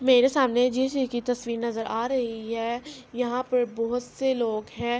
میرے سامنے جس چیز کی تشویر نظر آ رہی ہے۔ یہاں پی بہت سے لوگ ہے۔